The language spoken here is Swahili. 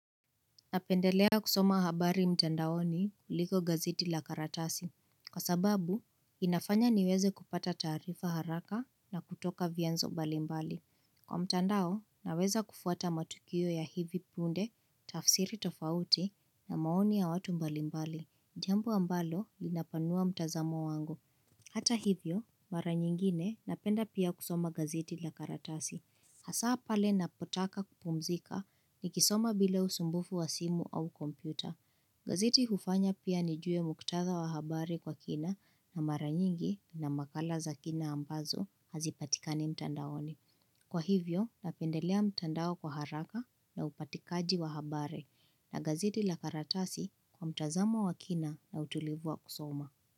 Napendelea kusoma habari mtandaoni kuliko gazeti la karatasi. Kwa sababu, inafanya niweze kupata taarifa haraka na kutoka vianzo mbali mbali. Kwa mtandao, naweza kufuata matukio ya hivi punde, tafsiri tofauti na maoni ya watu mbali mbali. Jambo ambalo linapanua mtazamo wango. Hata hivyo, mara nyingine napenda pia kusoma gazeti la karatasi. Hasaa pale napotaka kupumzika ni kisoma bila usumbufu wa simu au kompyuta. Gazeti hufanya pia nijue muktadha wa habari kwa kina na maranyingi na makala za kina ambazo hazipatika ni mtandaoni. Kwa hivyo, napendelea mtandao kwa haraka na upatikaji wa habari na gazeti la karatasi kwa mtazamo wa kina na utulivu wa kusoma.